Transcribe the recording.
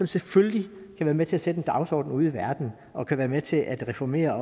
selvfølgelig være med til at sætte en dagsorden ude i verden og kan være med til at reformere